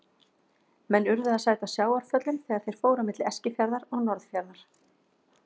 Menn urðu að sæta sjávarföllum þegar þeir fóru á milli Eskifjarðar og Norðfjarðar.